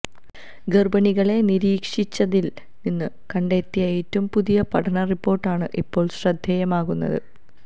ഗര്ഭിണികളെ നിരീക്ഷിച്ചതില് നിന്ന് കണ്ടെത്തിയ ഏറ്റവും പുതിയ പഠന റിപ്പോര്ട്ടാണ് ഇപ്പോള് ശ്രദ്ധേയമാകുന്നത്